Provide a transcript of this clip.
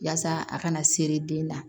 Yaasa a kana seri den na